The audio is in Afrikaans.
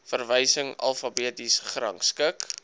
verwysing alfabeties gerangskik